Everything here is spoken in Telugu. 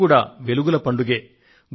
ఇది కూడా వెలుగుల పండుగే